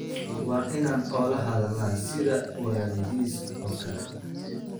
Waa inaan ula hadalnaa sida walaalihiis oo kale.